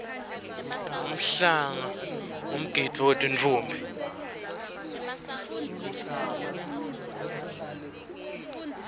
umhlanga ngumgidvo wetinffombi